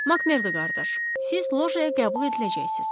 Makmerdo qardaş, siz lojaya qəbul ediləcəksiniz.